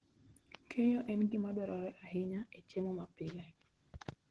Keyo en gima dwarore ahinya e chiemo mapile